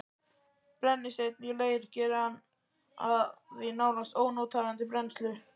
Brennisteinn í leir gerir hann því nánast ónothæfan til brennslu.